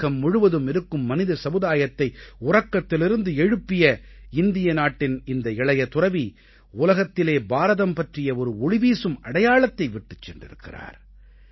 உலகம் முழுவதும் இருக்கும் மனித சமுதாயத்தை உறக்கத்திலிருந்து எழுப்பிய இந்திய நாட்டின் இந்த இளைய துறவி உலகத்திலே பாரதம் பற்றிய ஒரு ஒளிவீசும் அடையாளத்தை விட்டுச் சென்றிருக்கிறார்